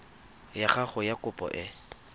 ya gago ya kopo e